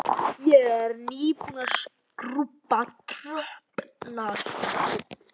Ég er nýbúin að skrúbba tröppurnar.